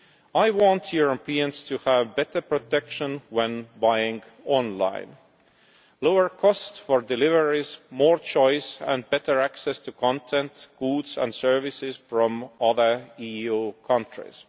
I want Europeans to have better protection when buying online, lower cost for deliveries, more choice and better access to content, goods and services from other EU countries.